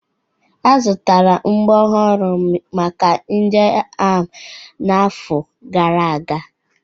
A zụtara mgbọ ọhụrụ maka ndị agha n'afọ gara aga.